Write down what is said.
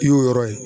I y'o yɔrɔ ye